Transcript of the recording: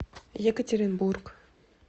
екатеринбург